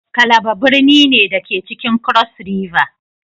Calabar birni ne, da ke cikin cross river